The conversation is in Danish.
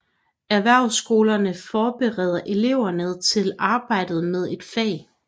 Erhvervsskolerne forbereder eleverne til arbejdet med et fag